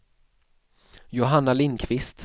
Johanna Lindqvist